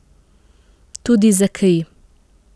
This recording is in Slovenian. Tudi za kri.